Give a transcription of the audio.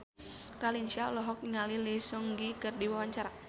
Raline Shah olohok ningali Lee Seung Gi keur diwawancara